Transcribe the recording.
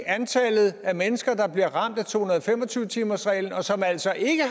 antallet af mennesker der bliver ramt af to hundrede og fem og tyve timersreglen og som altså ikke